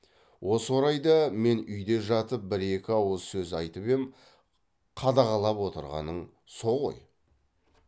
осы орайда мен үйде жатып бір екі ауыз сөз айтып ем қадағалап отырғаның со ғой